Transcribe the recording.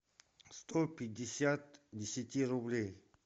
сто пятьдесят десяти рублей